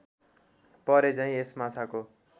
परेझैँ यस माछाको